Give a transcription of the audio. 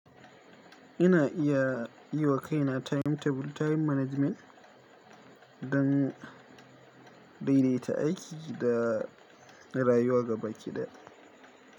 Ina iya yi wa kaina timetable, time management don daidaita aiki da rayuwa gaba ɗaya.